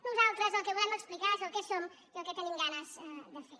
nosaltres el que volem explicar és el que som i el que tenim ganes de fer